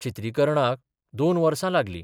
चित्रीकरणाक दोन वर्सा लागली.